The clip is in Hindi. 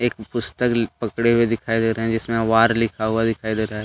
एक पुस्तक ल पकड़े हुवे दिखाई दे रहे हैं जिसमें वार लिखा हुआ दिखाई दे रहा है ।